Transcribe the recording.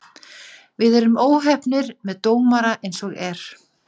Við erum óheppnir með dómara eins og er.